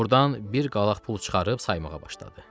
Ordan bir qalaq pul çıxarıb saymağa başladı.